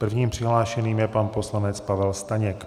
Prvním přihlášeným je pan poslanec Pavel Staněk.